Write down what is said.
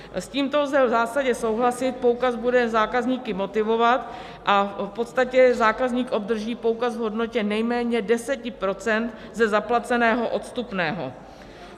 S tímto lze v zásadě souhlasit, poukaz bude zákazníky motivovat a v podstatě zákazník obdrží poukaz v hodnotě nejméně 10 % ze zaplaceného odstupného.